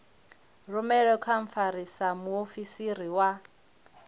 rumelwe kha mfarisa muofisiri wa